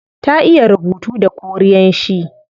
Ta iya rubuta da korean shi